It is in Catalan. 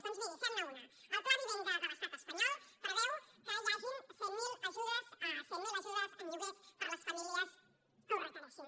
doncs miri fem ne una el pla vivenda de l’estat espanyol preveu que hi hagin cent miler ajudes en lloguers per a les famílies que ho requereixin